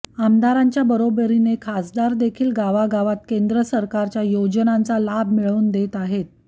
आमदारांच्या बरोबरीने खासदार देखील गावागावात केंद्र सरकारच्या योजनांचा लाभ मिळवून देत आहेत